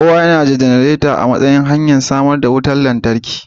kowa yana da janareta a matsayin madadin hanyar samar da wutar lantarki